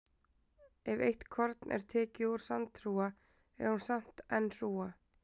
Ef eitt korn er tekið úr sandhrúga er hún samt enn hrúga.